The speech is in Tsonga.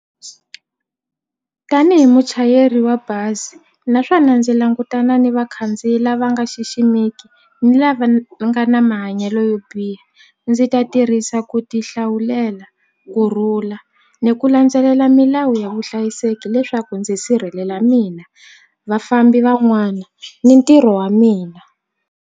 Tanihi muchayeri wa bazi naswona ndzi langutana ni vakhandziyi lava nga xiximeki ni lava va nga na mahanyelo yo biha ndzi ta tirhisa yisa ku ti hlawulela kurhula ni ku landzelela milawu ya vuhlayiseki leswaku ndzi sirhelela mina vafambi van'wana ni ntirho wa mina.